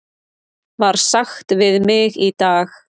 var sagt við mig í dag.